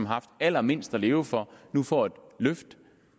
har haft allermindst at leve for nu får et løft